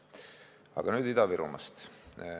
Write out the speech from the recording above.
Aga nüüd Ida-Virumaast.